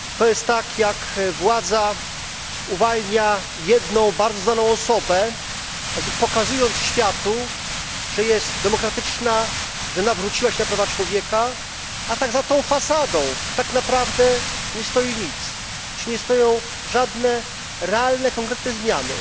Pani Przewodnicząca! To jest tak, jak władza uwalnia jedną bardzo znaną osobę, jakby pokazując światu, że jest demokratyczna, że nawróciła się na prawa człowieka, a za tą fasadą tak naprawdę nie stoi nic, nie stoją żadne realne, konkretne zmiany.